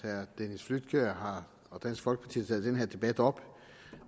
at herre dennis flydtkjær og dansk folkeparti har taget den her debat op